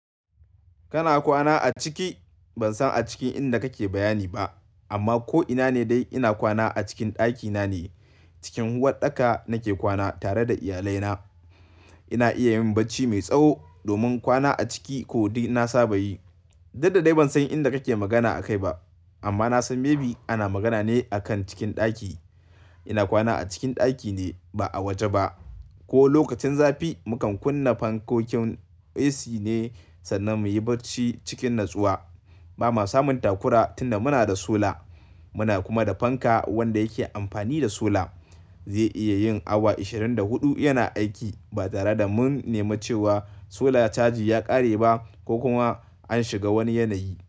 Kana kwana a ciki? Ban san a cikin inda kake bayani ba amma ko ina ne dai ina kwana a cikin ɗakina ne. Cikin uwaɗɗaka nake kwana tare da iyalaina. Ina iya yin barci mai tsawo domin kwana a ciki ko dai na saba yi. Duk da dai ban san inda kake magana a kai ba amma na san maybe ana magana ne akan cikin ɗaki. Ina kwana a cikin ɗaki ne ba a waje ba. Ko lokacin zafi mukan kunna fankokin AC ne sannan muyi barci cikin natsuwa. Ba mua samun takura tunda muna da sola. Muna kuma da fanka wanda yake amfani da sola. Zai iya yin awa ashirin da huɗu yana aiki ba tare da mun nemi cewa sola caji ya ƙare ba ko kuma an shiga wani yanayi.